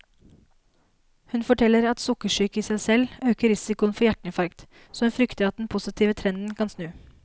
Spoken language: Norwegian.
Hun forteller at sukkersyke i seg selv øker risikoen for hjerteinfarkt, så hun frykter at den positive trenden kan snu.